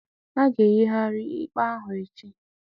A ga-eyigharị ikpe ahụ echi